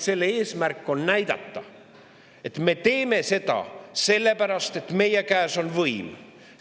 Selle eesmärk on hoopis näidata, et nende käes on võim.